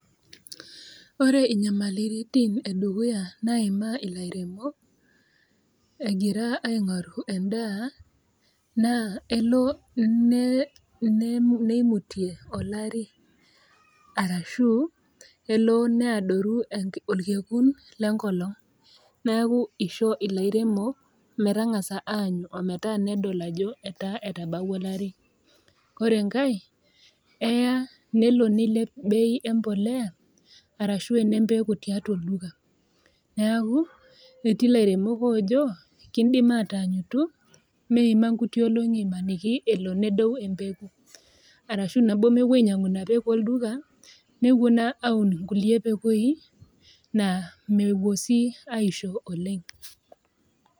Ore inyamaliritin e dukuya naimaa ilairemok, egira aing'oru endaa, naa elo neimutie olari arashu, elo neadoru olkekun le enkolong' neaku eisho ilairemok metang'asa aanyu ometaa nedol ajo etabautwa olari. Ore enkai, eya nelo neilep bei embolea arashu elo neilep ene embeko tiatua olduka. Neaku etii ilairemok oojo, kindim aataanyutu meima inkuti olong'i amaniki nedou empeko, arashu nabo elo nemepuo ainyang'u Ina peko olduka nepuo naa aun inkulie pekoi, naa mepuo sii aisho oleng'.